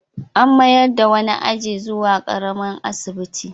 An mayar da wani aji zuwa ƙaramin asibiti.